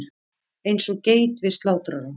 Eins og geit við slátrarann.